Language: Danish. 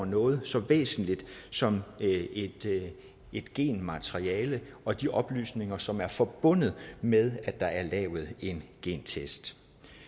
noget så væsentligt som et genmateriale og de oplysninger som er forbundet med at der er lavet en gentest